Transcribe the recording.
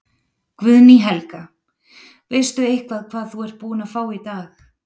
Guðný Helga: Veistu eitthvað hvað þú ert búin að fá í dag?